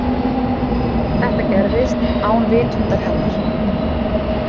Þetta gerðist án vitundar hennar.